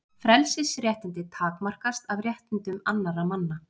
Frelsisréttindi takmarkast af réttindum annarra manna.